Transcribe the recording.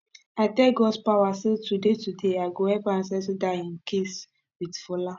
i tell godspower say today today i go help am settle dat im case with fola